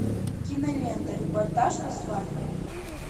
кинолента репортаж со свадьбы